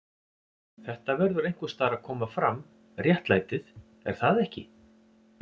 Þetta verður einhvers staðar að koma fram, réttlætið, er það ekki?